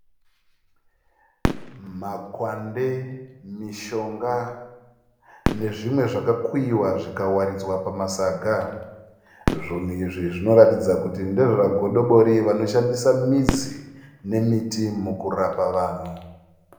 Makwande, mishonga nezvimwe zvakakuyiwa zvikawaridzwa pamasaga. Zvinhu izvi zvinoratidza kuti ndezvagodobori vanoshandisa midzi nemiti mukurapa vanhu.